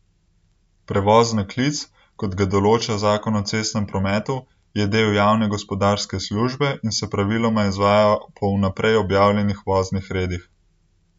Prevoz na klic, kot ga določa zakon o cestnem prometu, je del javne gospodarske službe in se praviloma izvaja po vnaprej objavljenih voznih redih.